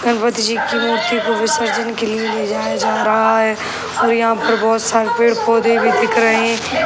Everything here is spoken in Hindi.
जी की मूर्ति को विसर्जन के लिए ले जाया जा रहा है और यहाँ पर बहुत सारे पेड़-पौधे भी दिख रहे।